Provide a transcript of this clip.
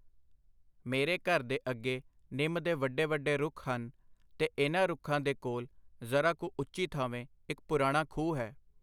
ਮੇਰੇ ਘਰ ਦੇ ਅੱਗੇ ਨਿੰਮ ਦੇ ਵੱਡੇ ਵੱਡੇ ਰੁੱਖ ਹਨ, ਤੇ ਇਹਨਾਂ ਰੁੱਖਾਂ ਦੇ ਕੋਲ ਜ਼ਰਾ ਕੁ ਉੱਚੀ ਥਾਵੇਂ ਇਕ ਪੁਰਾਣਾ ਖੂਹ ਹੈ.